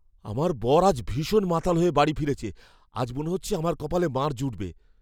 আমার বর আজ ভীষণ মাতাল হয়ে বাড়ি ফিরেছে। আজ মনে হচ্ছে আমার কপালে মার জুটবে।